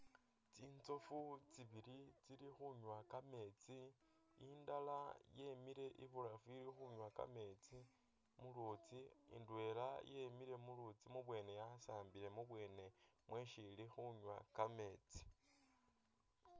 Tsinzofu tsibili tsili khunywa kameetsi indala yemile ibulafu ili khunywa kameetsi mu luutsi, ndwela yemile mu luutsi mubwene yasambile mubwene mwesi ili khunywa kameetsi.